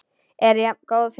En jafngóð fyrir því!